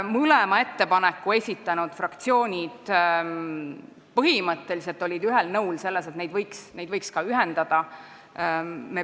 Mõlemad ettepaneku esitanud fraktsioonid olid põhimõtteliselt ühel nõul selles, et need ettepanekud võiks ka ühendada.